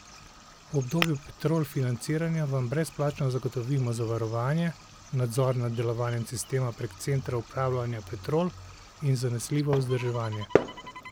V obdobju Petrol financiranja vam brezplačno zagotovimo zavarovanje, nadzor nad delovanjem sistema prek centra upravljanja Petrol in zanesljivo vzdrževanje.